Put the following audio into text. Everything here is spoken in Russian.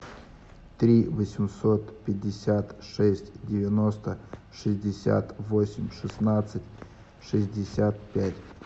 три восемьсот пятьдесят шесть девяносто шестьдесят восемь шестнадцать шестьдесят пять